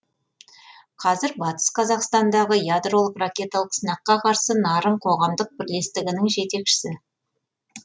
қазір батыс қазақстандағы ядролық ракеталық сынаққа қарсы нарын қоғамдық бірлестігінің жетекшісі